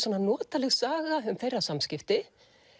notaleg saga um þeirra samskipti